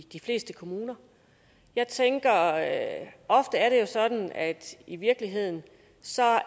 de fleste kommuner jeg tænker at det ofte er sådan at i virkeligheden